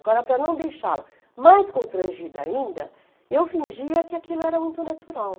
Agora, para não deixá-la mais constrangida ainda, eu fingia que aquilo era muito natural.